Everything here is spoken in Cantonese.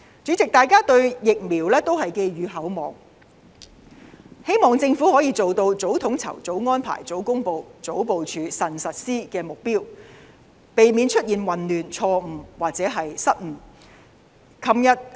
主席，大家對疫苗寄予厚望，希望政府可以做到早統籌、早安排、早公布、早部署、慎實施的目標，避免出現混亂、錯誤或失誤。